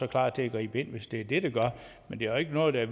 klar til at gribe ind hvis det er det det gør men der er ikke noget der